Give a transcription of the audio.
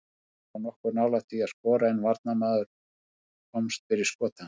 Veigar var nokkuð nálægt því að skora en varnarmaður komst fyrir skot hans.